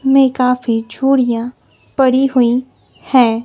में काफी छूड़ियां पड़ी हुई है।